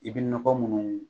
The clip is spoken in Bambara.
I bɛ nɔgɔ munnu